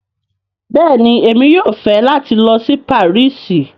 Bẹ́ẹ̀ni, Emi yóò fẹ́ lati lọ sí Parísì